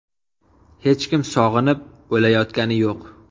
Hech kim sog‘inib, o‘layotgani yo‘q.